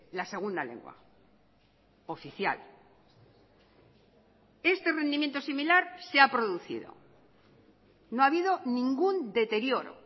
la segunda lengua oficial este rendimiento similar se ha producido no ha habido ningún deterioro